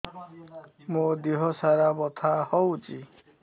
ମୋ ଦିହସାରା ବଥା ହଉଚି